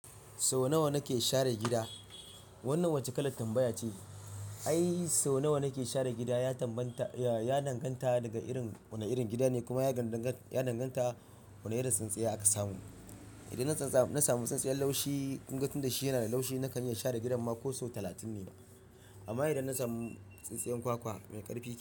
Sau nawa nake share gida? Wannan wace kalar tambaya ce? Ai sau nawa nake share gida ya danganta daga irin wane irin gida ne kuma ya danganta wane irin tsintsiya aka samu. Idan na samu tsintsiyar laushi, kun ga tun da shi yana da laushi nakan iya share gidan mako sau talatin ne. Amma idan na samu tsintsiyar kwakwa mai ƙarfi.